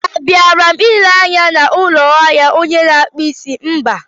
A bịara m ịlere anya n'ụlọ ahịa onye a na-akpụ isí, mba!